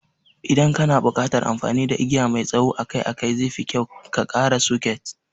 Idan kana buƙatar amfani da igiya mai tsawo akai-akai, zefi kyau ka ƙara soket.